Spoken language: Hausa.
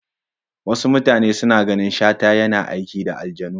Wasu mutanan suna ganin Shata yana aiki da aljanu.